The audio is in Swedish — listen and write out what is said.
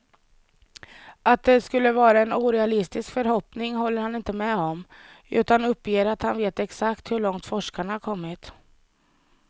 Att det skulle vara en orealistisk förhoppning håller han inte med om, utan uppger att han vet exakt hur långt forskarna har kommit.